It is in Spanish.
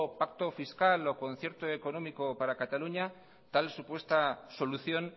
pacto fiscal o concierto económico para cataluña tal supuesta solución